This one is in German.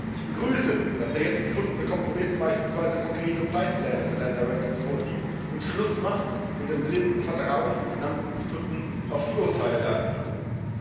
Ich begrüße, dass der jetzt gefundene Kompromiss beispielsweise konkrete Zeitpläne für Länderratings vorsieht, und Schluss macht mit dem blinden Vertrauen von Finanzinstituten in die Urteile der Agenturen.